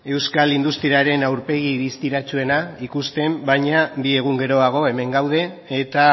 euskal industriaren aurpegi distiratsuena ikusten baina bi egun geroago hemen gaude eta